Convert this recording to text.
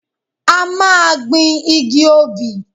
A máa gbin igi obì.